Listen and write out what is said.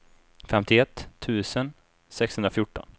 femtioett tusen sexhundrafjorton